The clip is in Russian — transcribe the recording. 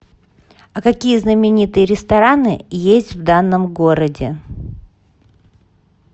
а какие знаменитые рестораны есть в данном городе